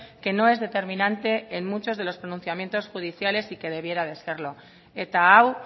que no es determinante en muchos de los pronunciamientos judiciales y que debiera de serlo eta hau